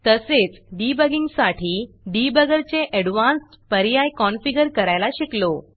तसेच डिबगींगसाठी debuggerडिबगर चे ऍडव्हान्स्ड पर्याय कॉनफिगर करायला शिकलो